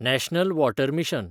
national water mission